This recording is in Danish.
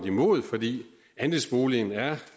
imod fordi andelsboligen er